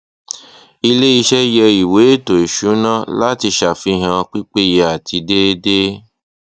ilé iṣẹ yẹ ìwé ètò ìsúná láti ṣàfihàn pípéye àti déédéé